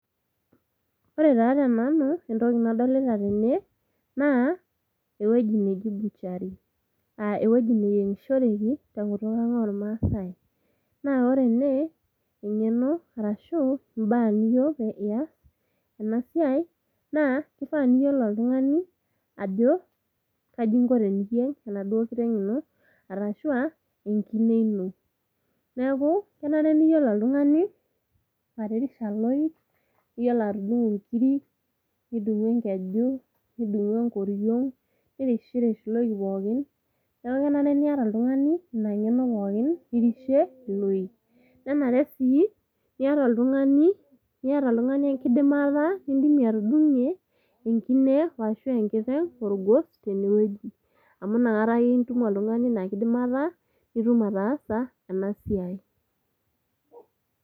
Ore taa tenanu entoki nadolita tene, naa ewuoji neji butchery. Aa ewuoji neyiongishoreki kungutuk ang' oo maasai. Naa ore ene engeno arashuu imbaa niyieu niyasene siai naa kifaa niyiolo oltungani ajo kaji ingo teniyieng enaduo kiteng' ino arashuu aa enkine ino. Neeku kenare niyiolo oltungani atirisha iloik, niyiolo atudungu inkiri, nidungu enkeju, nidungu enkoriong, nirishirish iloik pookin. Neeku kenare niata oltungani ina ngeno pookin nirishie iloik. Nenare sii niata oltungani niata engidimata niidim atudungie enkine arashu enkiteng' olgos tene oji amu tanakata ake itum oltungani inakidimata nitum ataasa ena siai.